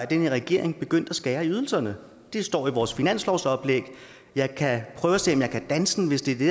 den her regering begyndte at skære i ydelserne det står i vores finanslovsoplæg jeg kan prøve at se om jeg kan danse den hvis det er det